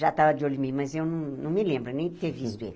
Já estava de olho em mim, mas eu não não me lembro nem de ter visto ele.